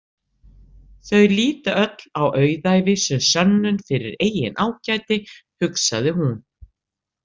Þau líta öll á auðæfi sem sönnun fyrir eigin ágæti, hugsaði hún.